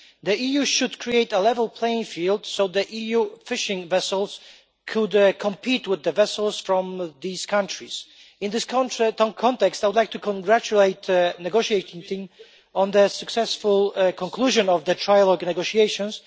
The EU should create a level playing field so that EU fishing vessels can compete with the vessels from these countries. In this context, I would like to congratulate the negotiating team on their successful conclusion of the trialogue negotiations.